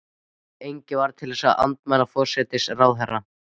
Engin varð til að andmæla forsætisráðherra.